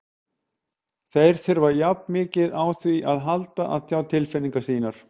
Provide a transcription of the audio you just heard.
Þeir þurfa jafn mikið á því að halda að tjá tilfinningar sínar.